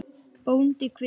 BÓNDI: Hver?